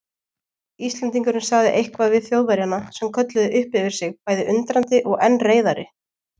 Íslendingurinn sagði eitthvað við Þjóðverjana sem kölluðu upp yfir sig bæði undrandi og enn reiðari.